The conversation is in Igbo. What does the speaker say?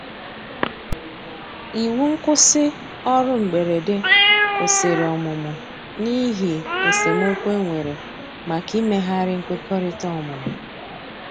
iwu nkwusi orụ mgberede kwụsìrì ọmụmụ n'ihi esemeokwụ enwere maka imeghari nkwekọrịta ọmụmụ